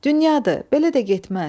Dünyadır, belə də getməz.